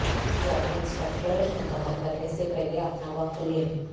ایک ذاتی انسٹرکٹر منتخب کرنے سے پہلے اپنا وقت لیں